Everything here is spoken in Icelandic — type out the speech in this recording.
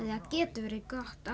það getur verið gott